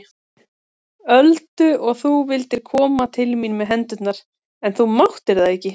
Öldu og þú vildir koma til mín með hendurnar en þú máttir það ekki.